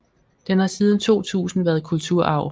Den har siden 2000 været kulturarv